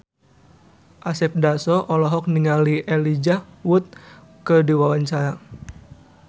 Asep Darso olohok ningali Elijah Wood keur diwawancara